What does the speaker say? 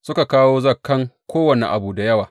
Suka kawo zakan kowane abu da yawa.